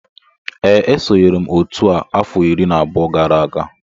Ee esonyere m otu a afọ iri na abụọ gara aga